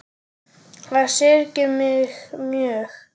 Það syrgir mig mjög.